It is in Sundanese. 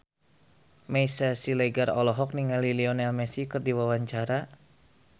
Meisya Siregar olohok ningali Lionel Messi keur diwawancara